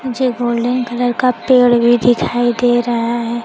मुझे golden colour का पेड़ भी दिखाई दे रहा है।